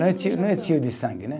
Não é tio, não é tio de sangue, né?